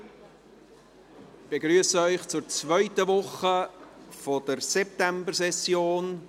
Ich begrüsse Sie zur zweiten Woche der Septembersession.